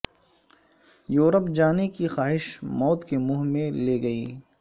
Europe جانے کی خواہش موت کے منہ میں لے گئی